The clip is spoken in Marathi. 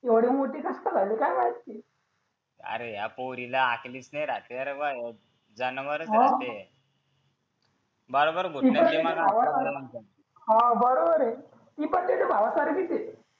एवढी मोठी कस काय झाली काय माहित ती अरे या पोरीला अकलेच नाही राहत जनावरच आहे बरोबर ती त्या भावा हा बरोबर हा बोलतोय हा बरोबर आहे ती पण त्याच्या भावासारखीच आहे